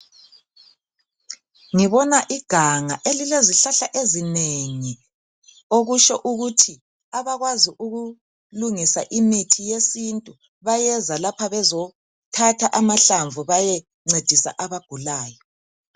Ngibona iganga elilezihlala ezinengi, okusho ukuthi abakwazi ukulungisa imithi yesintu, bayeza lapha bezothatha amahlamvu bayencedisa abagulayo.